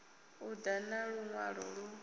u ḓa na luṅwalo lu